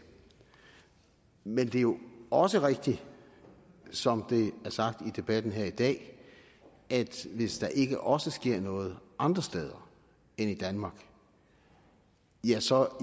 men det er jo også rigtigt som det er sagt i debatten her i dag at hvis der ikke også sker noget andre steder end i danmark ja så